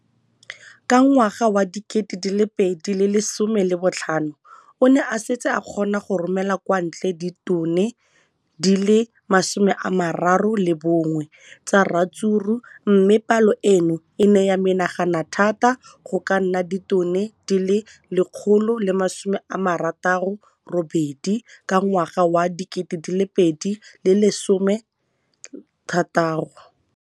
Ka ngwaga wa 2015, o ne a setse a kgona go romela kwa ntle ditone di le 31 tsa ratsuru mme palo eno e ne ya menagana thata go ka nna ditone di le 168 ka ngwaga wa 2016.